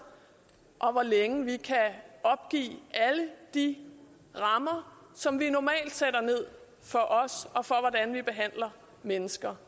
og hvor længe vi kan opgive alle de rammer som vi normalt sætter for os og for hvordan vi behandler mennesker